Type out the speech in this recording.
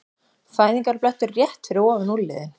Fæðingarblettur rétt fyrir ofan úlnliðinn.